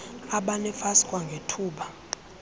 abane fas kwangethuba